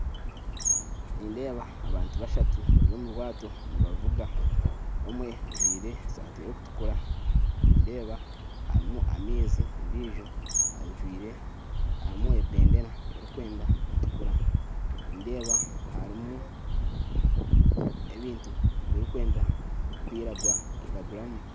Nindeba abantu bashatu bary'omurwato nibavuga, omwe ajwire esaati erikutukura, nindeba harimu amaizi, ondijo ajwire harimu ebendera erikwenda kutukura, nindeba harimu ebintu birikwenda kwiragura iraguramu.